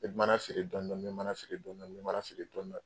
N be mana siri dɔɔni dɔɔni, n be mana siri dɔɔni dɔɔniɔ, n be mana siri dɔɔni dɔɔni.